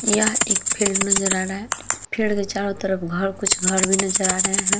यह एक फील्ड नजर आ रहा है। फील्ड के चोरो तरफ घर कुछ घर भी नजर हैं।